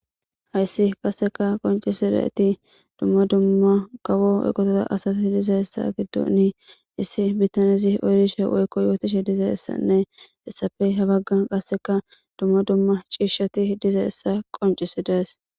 hayssi qasseka qoncisidayti dumma dumma kawo eqotota asati diza hessa giddoni issi bittanezi oyrishe woykko yootishe diza essanne essafey habaggan qasseka dumma dumma ciishshati diza essa qoncisidees